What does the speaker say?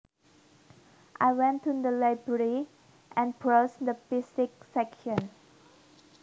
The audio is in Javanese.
I went to the library and browsed the physics section